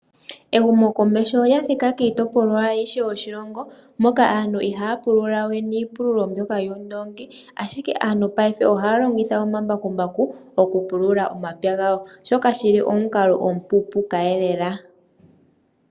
Ehumokomeho olya thika kiitopolwa ayihe yoshilongo .Moka aantu ihaya pulula we niipululo mboka yuundongi .Ashike aantu mongaashingeyi ohaya longitha omambakumbaku okupulula omapya gawo. Shoka shili omukalo omupupuka yelela.